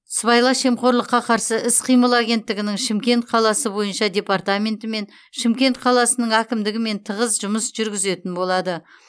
сыбайлас жемқорлыққа қарсы іс қимыл агенттігінің шымкент қаласы бойынша департаментімен шымкент қаласының әкімдігімен тығыз жұмыс жүргізетін болады